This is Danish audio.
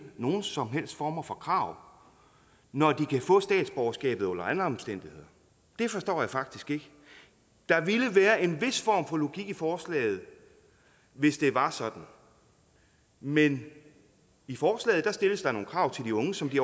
nogen som helst former for krav når de kan få statsborgerskabet under alle omstændigheder det forstår jeg faktisk ikke der ville være en vis form for logik i forslaget hvis det var sådan men i forslaget stilles der nogle krav til de unge som de